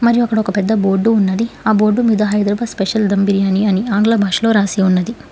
మరి అక్కడ ఒక పెద్ద బోర్డు ఉన్నది ఆ బోర్డు మీద హైదరాబాద్ స్పెషల్ దమ్ బిర్యాని అని ఆంగ్ల భాషలో రాసి ఉన్నది.